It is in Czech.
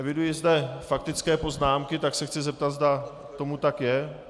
Eviduji zde faktické poznámky, tak se chci zeptat, zda tomu tak je.